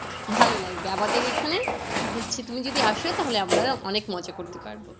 ভালো লাগবে আমাদের এখানে হচ্ছে তুমি যদি আসো তাহলে আমরা অনেক মজা করতে পারবো।